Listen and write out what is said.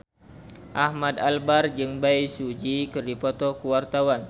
Ahmad Albar jeung Bae Su Ji keur dipoto ku wartawan